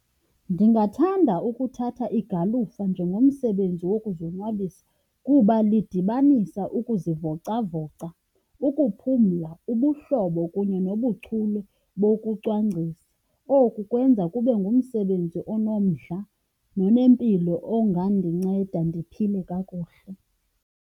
Ndingathanda ukuthatha igalufa njengomsebenzi wokuzonwabisa kuba lidibanisa ukuzivocavoca, ukuphumla, ubuhlobo kunye nobuchule bokucwangcisa. Oku kwenza kube ngumsebenzi onomdla nonempilo ongandinceda ndiphile kakuhle.